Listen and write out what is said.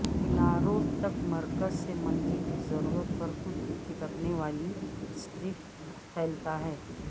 کناروں تک مرکز سے منزل کی ضرورت پر خود چپکنے والی سٹرپس پھیلتا ہے